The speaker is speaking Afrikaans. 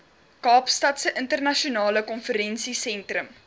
kaapstadse internasionale konvensiesentrum